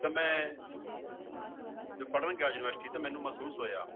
ਤਾਂ ਮੈਂ ਜਦੋਂ ਪੜ੍ਹਨ ਗਿਆ university ਤਾਂ ਮੈਨੂੰ ਮਹਿਸੂਸ ਹੋਇਆ